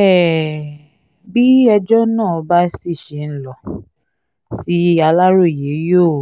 um bí ẹjọ́ náà bá sì ṣe ń lọ sí aláròye yóò